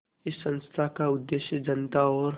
इस संस्थान का उद्देश्य जनता और